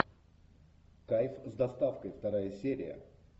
кайф с доставкой вторая серия